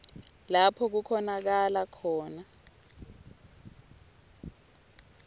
lapho kukhonakala khona